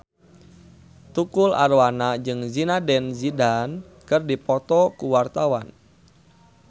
Tukul Arwana jeung Zidane Zidane keur dipoto ku wartawan